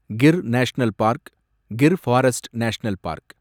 Gir national park , Gir forest national park